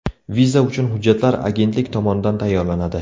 Viza uchun hujjatlar agentlik tomonidan tayyorlanadi.